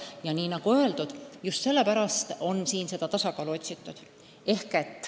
Ja nii nagu öeldud, just sellepärast on seda tasakaalu otsitud.